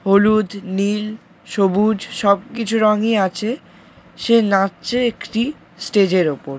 হলুদ নীল সবুজ সবকিছু রং- ই আছে সে নাচছে একটি স্টেজ - এর ওপর।